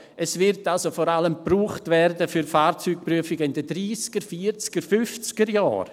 Es wird also vor allem für Fahrzeugprüfungen in den Dreissiger-, Vierziger-, Fünfzigerjahren gebraucht werden.